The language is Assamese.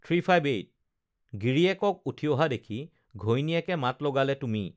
গিৰিয়েকক উঠি অহা দেখি ঘৈণীয়েকে মাত লগালে তুমি